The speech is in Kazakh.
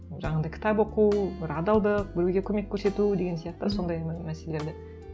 жаңағындай кітап оқу бір адалдық біреуге көмек көрсету деген сияқты сондай мәселелерді